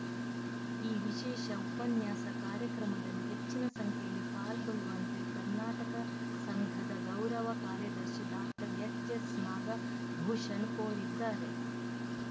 ಈ ವಿಶೇಷ ಉಪನ್ಯಾಸ ಕಾರ್ಯಕ್ರಮದಲ್ಲಿ ಹೆಚ್ಚಿನ ಸಂಖ್ಯೆಯಲ್ಲಿ ಪಾಲ್ಗೊಳ್ಳುವಂತೆ ಕರ್ನಾಟಕ ಸಂಘದ ಗೌರವ ಕಾರ್ಯದರ್ಶಿ ಡಾಕ್ಟರ್ ಎಚ್‌ ಎಸ್‌ ನಾಗಭೂಷಣ್ ಕೋರಿದ್ದಾರೆ